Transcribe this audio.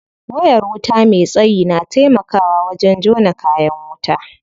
Wayar wuta me tsayi na taimakawa wajen jona kayan wuta.